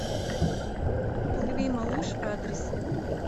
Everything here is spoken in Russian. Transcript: плыви малыш адрес